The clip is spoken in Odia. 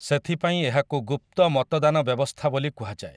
ସେଥିପାଇଁ ଏହାକୁ ଗୁପ୍ତ ମତଦାନ ବ୍ୟବସ୍ଥା ବୋଲି କୁହାଯାଏ ।